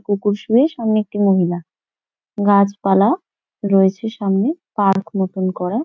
কুকুর শুয়ে সামনে একটি মহিলা গাছপালা রয়েছে সামনে পার্ক মতন করা।